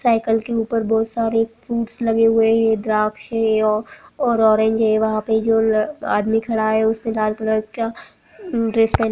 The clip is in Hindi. साईकल के ऊपर बहुत सारे फ्रूट्स लगे हुए है द्रक्षे है और ऑरेंज है वहाँ पे जो ल आदमी खड़ा है उसने लाल कलर का ड्रेस पहना --